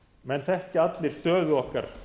menn þekkja allir stöðu okkar